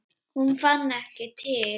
Hún fann ekki til.